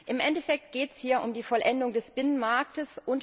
Im Endeffekt geht es hier um die Vollendung des Binnenmarkts.